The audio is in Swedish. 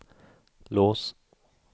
lås